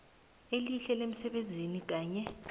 elihle lemsebenzini kanye